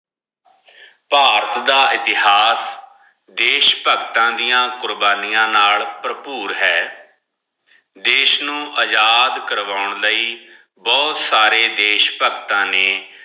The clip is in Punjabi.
ਭਾਰਤ ਦਾ ਇਤਿਹਾਸ ਦੇਸ਼ਭਕਤਾਂ ਦੀਆ ਕੁਰ੍ਬਾਨਿਯਾ ਨਾਲ ਭਰਪੂਰ ਹੈ ਦੇਸ਼ ਨੂ ਅਜਾਦ ਕਰਵਾਉਣ ਲਈ ਬੋਹਤ ਸਾਰੇ ਦੇਸ਼ਭਕਤਾਂ ਨੇ